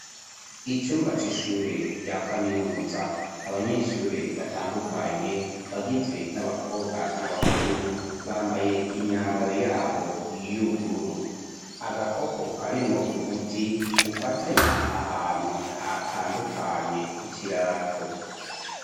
Icumba c'ishure rya kaminuza, abanyeshure batandukanye bagizwe n'abakobwa n'abahungu bambaye imyambaro yabo y'ubururu, agakopo karimwo umuti ufatanya ahantu hatandukanye ku kirato.